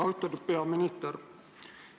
Austatud peaminister!